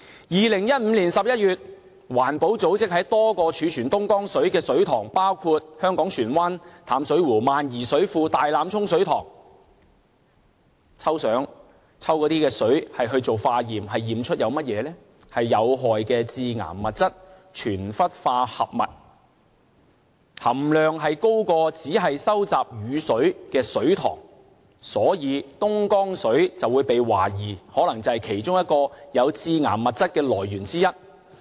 2015年11月，環保組織在多個貯存東江水的水塘，包括香港船灣淡水湖、萬宜水庫和大欖涌水塘抽水化驗，驗出有害的致癌物質全氟化合物，含量高於只收集雨水的水塘，所以東江水被懷疑可能是其中一個致癌物質的來源。